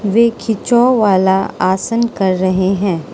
वे खिंचाव वाला आसन कर रहे है।